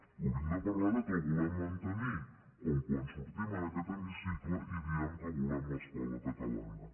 hauríem de parlar del fet que el volem mantenir com quan sortim en aquest hemicicle i diem que volem l’escola catalana